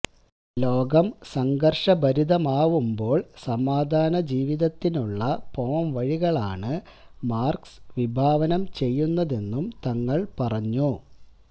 ലോകം സംഘര്ഷഭരിതമാവുമ്പോള് സമാധാന ജീവിതത്തിനുള്ള പോംവഴികളാണ് മര്കസ് വിഭാവനം ചെയ്യുന്നതെന്നും തങ്ങള് പറഞ്ഞു